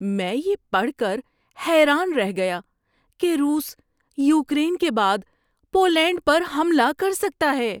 میں یہ پڑھ کر حیران رہ گیا کہ روس یوکرین کے بعد پولینڈ پر حملہ کر سکتا ہے۔